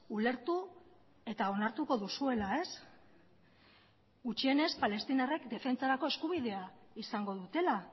ulertu eta onartuko duzuela ez gutxienez palestinarrek defentsarako eskubidea izango dutela